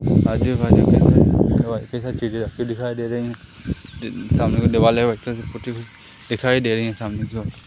आजू बाजू कई सारी चीजें रखी दिखाई दे रहीं है दिखाई दे रही हैं सामने की ओर।